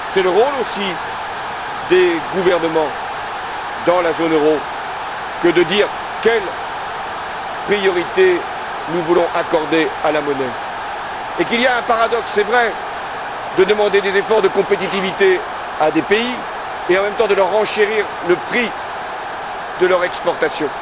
C'est aussi le rôle des gouvernements de la zone euro que de dire quelle priorité nous voulons accorder à la monnaie et qu'il y a un paradoxe c'est vrai à demander des efforts de compétitivité à des pays et, en même temps, à renchérir le prix de leurs exportations,